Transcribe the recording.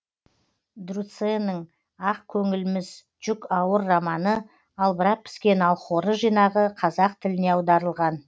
друцэнің ақ көңілміз жүк ауыр романы албырап піскен алхоры жинағы қазақ тіліне аударылған